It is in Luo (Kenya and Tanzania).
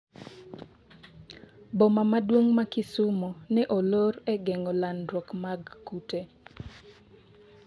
boma maduong' ma Kisumo ne olor e geng'o landruok mag kute